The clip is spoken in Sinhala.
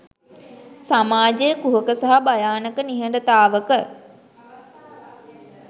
සමාජය කුහක සහ භයානක නිහඬතාවක